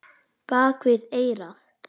Bak við eyrað.